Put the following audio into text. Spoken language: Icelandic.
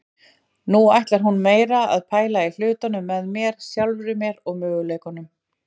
Nú ætlar hún meira að pæla í hlutunum með mér, sjálfri mér og möguleikunum.